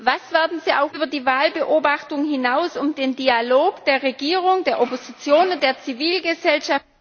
Was werden Sie über die Wahlbeobachtung hinaus unternehmen, um den Dialog der Regierung, der Opposition und der Zivilgesellschaft